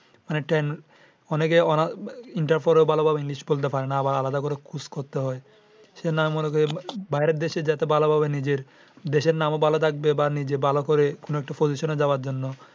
অনেক টাইম অনেকে ওরা inter পড়েও ভালোভাবে english বলতে পারে না। আবার আলাদা করে course করতে হয়। এখানে আমি মনে করি বাইরে দেশে যাতে ভালোভাবে নিজের দেশের নামও ভালো থাকবে বা নিজে ভালো করে কোন একটা position যাওয়ার জন্য